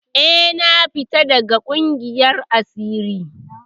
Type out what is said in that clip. Eh, na fita daga ƙungiyar asirin.